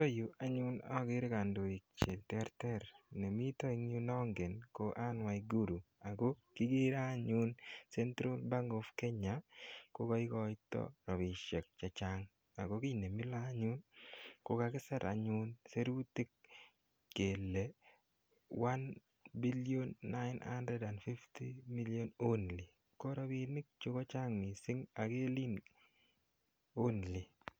Yutay anyun akere kandoik che terter. Ne mita yu ne angen ko Anne Waiguru ako kikere anyun Central Bank Of Kenya ko ka ikaita rapinik che chang' ako kit ne mila anyun ko kakisir anyun sirutik kele 'one billion nine hundred and fifty million only'. Ko rapinichu ko chang' missing' ak kelen 'only'.